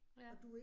Ja